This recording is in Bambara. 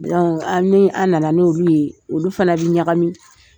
N' anw, a ni a nana n'olu ye, olu fana bɛ ɲagami.